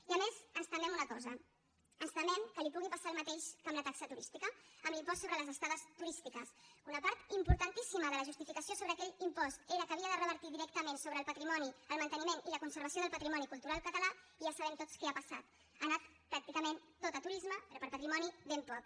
i a més ens temem una cosa ens temem que li pugui passar el mateix que amb la taxa turística amb l’impost sobre les estades turístiques una part importantíssima de la justificació sobre aquell impost era que havia de revertir directament sobre el patrimoni el manteniment i la conservació del patrimoni cultural català i ja sabem tots què ha passat ha anat tàcticament tot a turisme però per a patrimoni ben poc